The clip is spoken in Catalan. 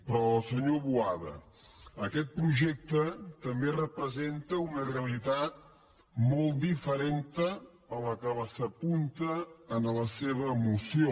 però senyor boada aquest projecte també representa una realitat molt diferent de la que s’apunta en la seva moció